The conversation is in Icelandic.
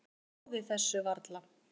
Trúði þessu varla.